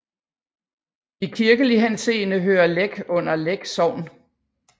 I kirkelig henseende hører Læk under Læk Sogn